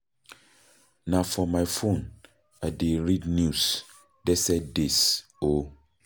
Na for my phone I dey read news dese days o.